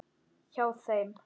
Hjá þeim.